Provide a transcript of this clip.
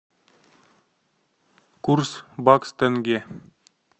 курс бакс тенге